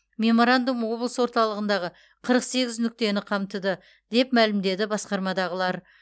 меморандум облыс орталығындағы қырық сегіз нүктені қамтыды деп мәлімдеді басқармадағылар